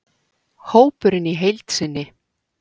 Hópurinn í heild sinni: